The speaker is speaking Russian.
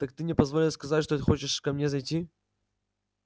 так ты мне позвонил сказать что хочешь ко мне зайти